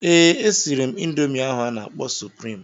Ee, e siri m ịndomii ahụ a na-akpọ suprịm.